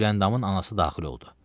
Güləndamın anası daxil oldu.